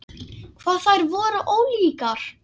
Hvað þær voru ólíkar!